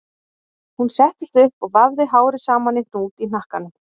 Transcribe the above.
Hún settist upp og vafði hárið saman í hnút í hnakkanum